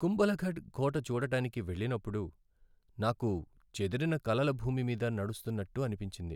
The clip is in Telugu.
కుంభల్ఘఢ్ కోట చూడడానికి వెళ్ళినప్పుడు, నాకు చెదిరిన కలల భూమి మీద నడుస్తున్నట్టు అనిపించింది.